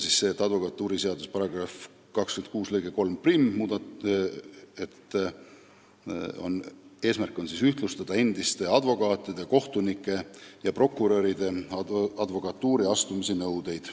Advokatuuriseaduse § 26 lõike 31 muudatuse eesmärk on ühtlustada endiste advokaatide, kohtunike ja prokuröride advokatuuri astumise nõudeid.